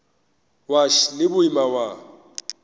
wa š le boima wa